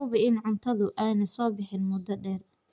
Hubi in cuntadu aanay soo bixin muddo dheer.